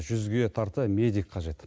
жүзге тарта медик қажет